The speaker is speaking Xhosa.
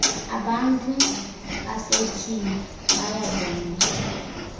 abantu basetyhini bayaboniswa